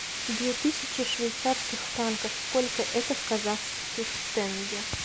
две тысячи швейцарских франков сколько это в казахских тенге